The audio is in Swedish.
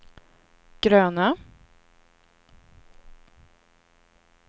gröna